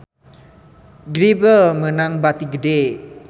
Grebel meunang bati gede